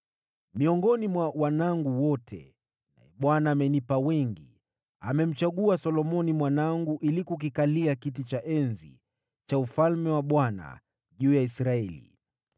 Miongoni mwa wanangu wote, naye Bwana amenipa wengi, amemchagua Solomoni mwanangu ili kukikalia kiti cha enzi cha ufalme wa Bwana juu ya Israeli.